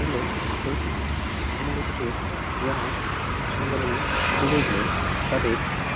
ওগুলো শহীদপিটি কুমোরে কোসেরে যারা ভাষা আন্দোলনে শহীদ হয়েছিলেন তাদের--